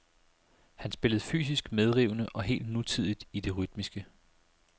Han spillede fysisk medrivende og helt nutidigt i det rytmiske.